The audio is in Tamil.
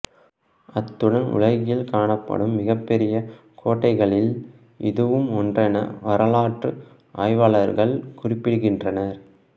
அத்துடன் உலகில் காணப்படும் மிகப்பெரிய கோட்டடைகளில் இதுவும் ஒன்றென வரலாற்று ஆய்வாளர்கள் குறிப்பிடுகின்றனர்